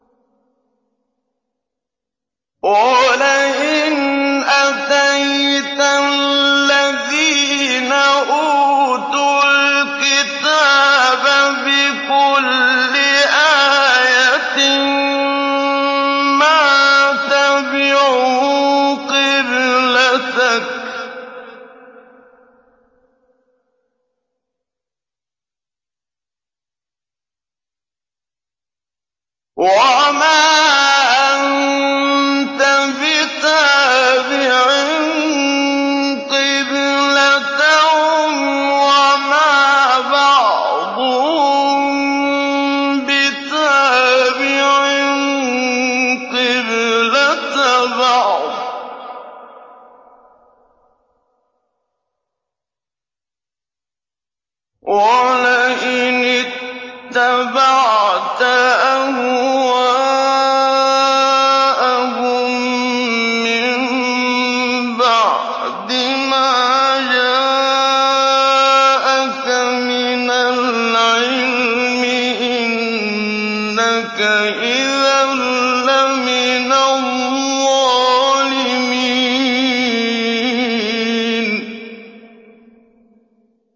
وَلَئِنْ أَتَيْتَ الَّذِينَ أُوتُوا الْكِتَابَ بِكُلِّ آيَةٍ مَّا تَبِعُوا قِبْلَتَكَ ۚ وَمَا أَنتَ بِتَابِعٍ قِبْلَتَهُمْ ۚ وَمَا بَعْضُهُم بِتَابِعٍ قِبْلَةَ بَعْضٍ ۚ وَلَئِنِ اتَّبَعْتَ أَهْوَاءَهُم مِّن بَعْدِ مَا جَاءَكَ مِنَ الْعِلْمِ ۙ إِنَّكَ إِذًا لَّمِنَ الظَّالِمِينَ